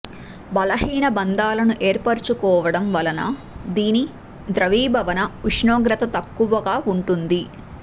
బలహీన బంధాలను ఏర్పరచుకోవడం వలన దీని ద్రవీభవన ఉష్ణోగ్రత తక్కువగా ఉంటుంది